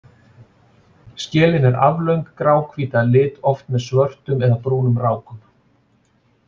Skelin er aflöng, gráhvít að lit, oft með svörtum eða brúnum rákum.